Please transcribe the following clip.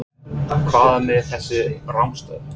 Hvað er með þessa rangstöðu?